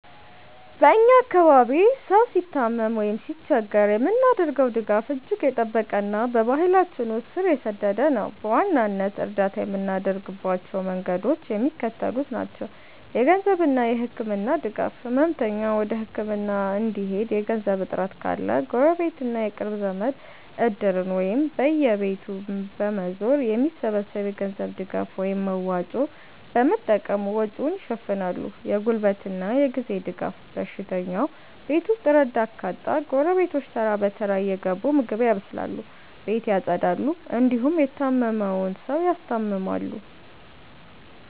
በ እኛ አካባቢ ሰው ሲታመም ወይም ሲቸገር የምናደርገው ድጋፍ እጅግ የጠበቀና በባህላችን ውስጥ ስር የሰደደ ነው። በዋናነት እርዳታ የምናደርግባቸው መንገዶች የሚከተሉት ናቸው -የገንዘብና የህክምና ድጋፍ፦ ህመምተኛው ወደ ህክምና እንዲሄድ የገንዘብ እጥረት ካለ፣ ጎረቤትና የቅርብ ዘመድ "እድር"ን ወይም በየቤቱ በመዞር የሚሰበሰብ የገንዘብ ድጋፍን (መዋጮ) በመጠቀም ወጪውን ይሸፍናሉ። የጉልበትና የጊዜ ድጋፍ፦ በሽተኛው ቤት ውስጥ ረዳት ካጣ፣ ጎረቤቶች ተራ በተራ እየገቡ ምግብ ያበስላሉ፣ ቤት ያፀዳሉ እንዲሁም የታመመውን ሰው ያስታምማሉ።